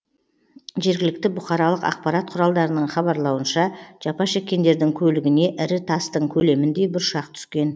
жергілікті бұқаралық ақпарат құралдарының хабарлауынша жапа шеккендердің көлігіне ірі тастың көлеміндей бұршақ түскен